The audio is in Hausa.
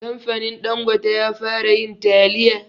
Kamfanin ɗangote ya fara yin taliya